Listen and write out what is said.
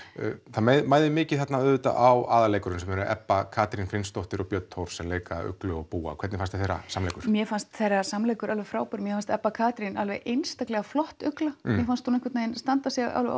það mæðir mikið á aðalleikurunum sem eru Ebba Katrín Finnsdóttir og Björn Thors sem leika Uglu og búa hvernig fannst þeirra samleikur mér fannst þeirra samleikur alveg frábær mér fannst Ebba Katrín alveg einstaklega flott ugla mér fannst hún einhvern veginn standa sig alveg